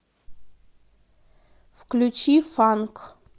включи фанк